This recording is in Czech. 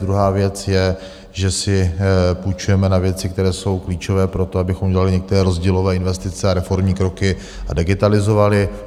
Druhá věc je, že si půjčujeme na věci, které jsou klíčové pro to, abychom udělali některé rozdílové investice a reformní kroky a digitalizovali.